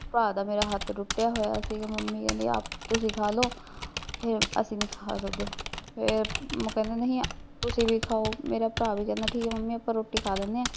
ਭਰਾ ਦਾ ਮੇਰਾ ਹੱਥ ਟੁੱਟਿਆ ਹੋਇਆ ਸੀਗਾ ਮੰਮੀ ਕਹਿੰਦੀ ਆਪ ਤੁਸੀ ਖਾਲੋ ਫੇਰ ਅਸੀਂ ਨੀ ਖਾ ਸਕਦੇ ਫੇਰ ਉਹ ਕਹਿੰਦੇ ਨਹੀਂ, ਤੁਸੀਂ ਵੀ ਖਾਓ, ਮੇਰਾ ਭਰਾ ਵੀ ਕਹਿੰਦਾ ਠੀਕ ਐ ਮੰਮੀ ਅਸੀਂ ਰੋਟੀ ਖਾ ਲੈਂਦੇ ਆ